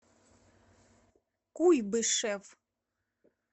куйбышев